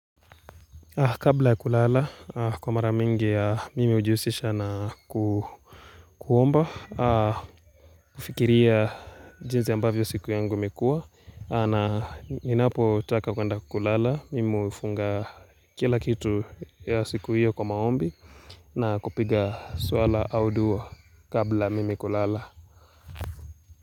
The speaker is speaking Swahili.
Kabla ya kulala, kwa mara mingi mimi hujihusisha na ku kuomba, kufikiria jinsi ambavyo siku yangu imekuwa. Na, ninapotaka kuenda kulala, mimi hufunga, kila kitu ya siku hiyo kwa maombi. Na kupiga swala au dua, kabla mimi kulala.